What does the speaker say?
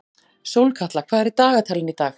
Sólkatla, hvað er í dagatalinu í dag?